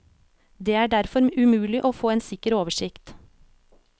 Det er derfor umulig å få en sikker oversikt.